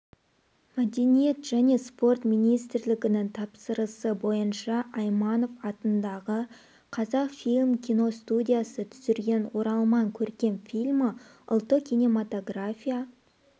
мәдениет және спорт министрлігінің тапсырысы бойынша айманов атындағы қазақфильм киностудиясы түсірген оралман көркем фильмі ұлттық кинематография